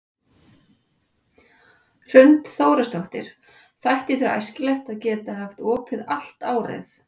Hrund Þórsdóttir: Þætti þér æskilegt að geta haft opið allt árið?